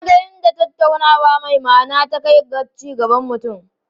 Na ga inda tattaunawa mai ma'ana ta kai ga ci gaban mutum.